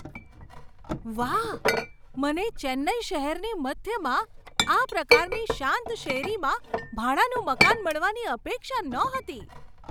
વાહ! મને ચેન્નાઈ શહેરની મધ્યમાં આ પ્રકારની શાંત શેરીમાં ભાડાનું મકાન મળવાની અપેક્ષા નહોતી.